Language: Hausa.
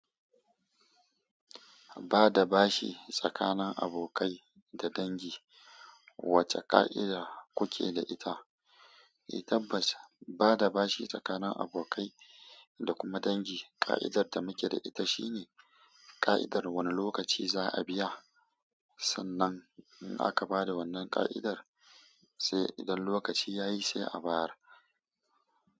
Ba da bashi tsakanin abokai da dangi, wacce ka'ida kuke da ita? Eh tabbas, ba da bashi tsakanin abokai da kuma dangi, ka'idar da muke da ita shine ka'idar wani lokaci za a biya. Sannan in aka ba da wannan ka'idar, sai idan lokaci ya yi sai a bayar.